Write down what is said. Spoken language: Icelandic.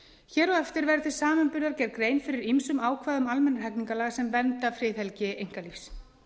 hér á eftir verður til samanburðar gerð grein fyrir ýmsum ákvæðum almennra hegningarlaga sem vernda friðhelgi einkalífs